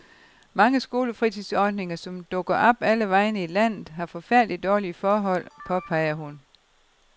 Mange skolefritidsordninger, som dukker op alle vegne i landet, har forfærdeligt dårlige forhold, påpeger hun.